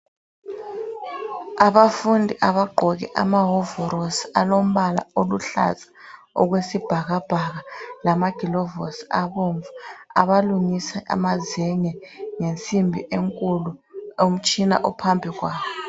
Abafundi abagqoke amawovarosi alombala aluhlaza okwesibhakabhaka lamagilovosi abomvu. Abalungisa amazenge ngensimbi enkulu umtshina uphambi kwabo.